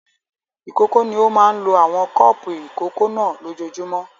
Ìkókó ni ó máa ń lo àwọn kọ́ọ́pù ìkókó náà lójoojúmọ́.